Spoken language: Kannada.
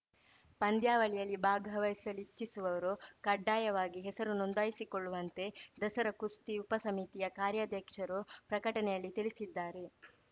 ಪಂದ್ಯಾವಳಿಯಲ್ಲಿ ಭಾಗವಹಿಸಲಿಚ್ಚಿಸುವವರು ಕಡ್ಡಾಯವಾಗಿ ಹೆಸರು ನೋಂದಾಯಿಸಿಕೊಳ್ಳುವಂತೆ ದಸರಾ ಕುಸ್ತಿ ಉಪಸಮಿತಿಯ ಕಾರ್ಯಾಧ್ಯಕ್ಷರು ಪ್ರಕಟಣೆಯಲ್ಲಿ ತಿಳಿಸಿದ್ದಾರೆ